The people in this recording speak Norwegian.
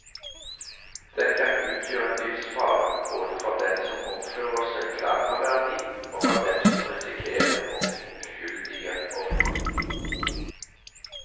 Den kan utgjøre en livsfare, både for den som oppfører seg klanderverdig, og for dem som risikerer å bli uskyldige ofre.